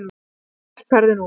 Hvert ferðu nú?